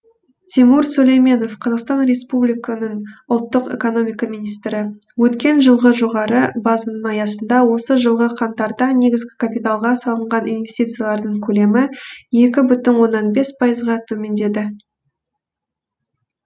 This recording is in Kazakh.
тимур сүлейменов қазақстан республиканың ұлттық экономика министрі өткен жылғы жоғары базаның аясында осы жылғы қаңтарда негізгі капиталға салынған инвестициялардың көлемі екі бүтін оннан бес пайызға төмендеді